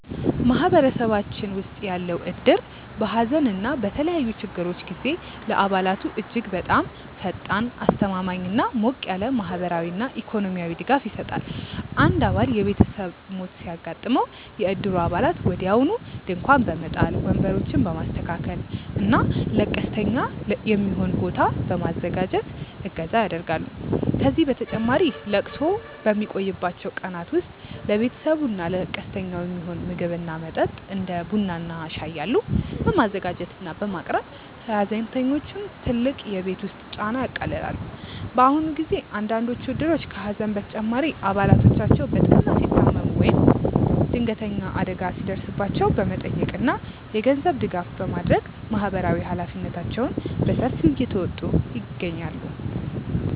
ማህበረሰባችን ውስጥ ያለው እድር በሐዘን እና በተለያዩ ችግሮች ጊዜ ለአባላቱ እጅግ በጣም ፈጣን፣ አስተማማኝ እና ሞቅ ያለ ማህበራዊና ኢኮኖሚያዊ ድጋፍ ይሰጣል። አንድ አባል የቤተሰብ ሞት ሲያጋጥመው፣ የእድሩ አባላት ወዲያውኑ ድንኳን በመጣል፣ ወንበሮችን በማስተካከል እና ለቀስተኛ የሚሆን ቦታ በማዘጋጀት እገዛ ያደርጋሉ። ከዚህም በተጨማሪ ለቅሶው በሚቆይባቸው ቀናት ውስጥ ለቤተሰቡ እና ለቀስተኛው የሚሆን ምግብ እና መጠጥ (እንደ ቡና እና ሻይ ያሉ) በማዘጋጀት እና በማቅረብ የሐዘንተኞቹን ትልቅ የቤት ውስጥ ጫና ያቃልላሉ። በአሁኑ ጊዜ አንዳንዶቹ እድሮች ከሐዘን በተጨማሪ አባላቶቻቸው በጠና ሲታመሙ ወይም ድንገተኛ አደጋ ሲደርስባቸው በመጠየቅ እና የገንዘብ ድጋፍ በማድረግ ማህበራዊ ኃላፊነታቸውን በሰፊው እየተወጡ ይገኛሉ።